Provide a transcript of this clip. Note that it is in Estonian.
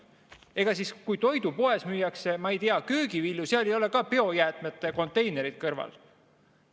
Ega siis toidupoes, kus müüakse, ma ei tea, köögivilju, ei ole ka biojäätmete konteinerit kõrval.